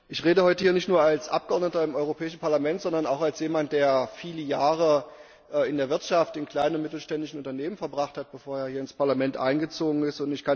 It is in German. Ich rede heute hier nicht nur als Abgeordneter im Europäischen Parlament, sondern auch als jemand, der viele Jahre in der Wirtschaft, in kleinen und mittelständischen Unternehmen verbracht hat, bevor er hier ins Parlament eingezogen ist.